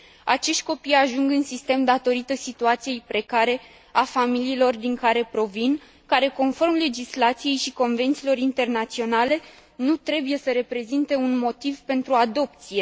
Acești copii ajung în sistem datorită situației precare a familiilor din care provin, care, conform legislației și convențiilor internaționale, nu trebuie să reprezinte un motiv pentru adopție.